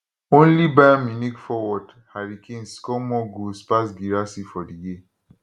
only bayern munich forward harry kane score more goals pass guirassy for di year